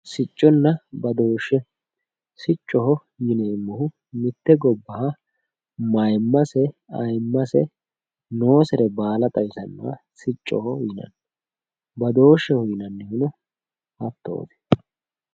Sicconna badooshshe siccoho yineemmohu mitte gobbaha mayiimmase ayeemmase xawisanno badooshsheho yinannihuno hattooti